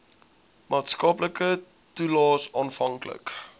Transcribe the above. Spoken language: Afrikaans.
maatskaplike toelaes afhanklik